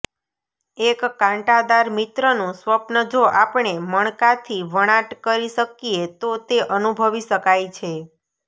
એક કાંટાદાર મિત્રનું સ્વપ્ન જો આપણે મણકાથી વણાટ કરી શકીએ તો તે અનુભવી શકાય છે